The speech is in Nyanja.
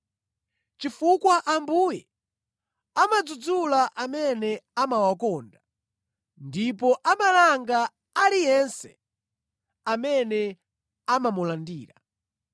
Chifukwa Ambuye amadzudzula amene amawakonda ndipo amalanga aliyense amene amamulandira.”